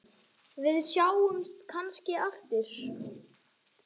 Við sjáumst kannski aftur.